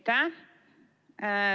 Aitäh!